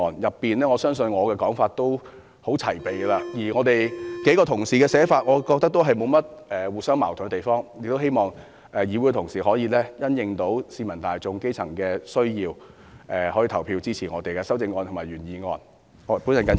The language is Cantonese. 我相信我的修正案內容已相當齊備，而我認為幾位同事的修正案也沒有互相矛盾之處，因此，我希望同事可以因應基層市民的需要，投票支持我們的修正案和原議案。